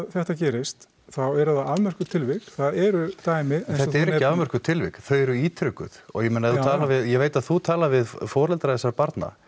þetta gerist þá eru það afmörkuð tilvik það eru dæmi þetta eru ekki afmörkuð tilvik þau eru ítrekuð og ég meina ef þú talar við ég veit að þú talar við foreldra þessara barna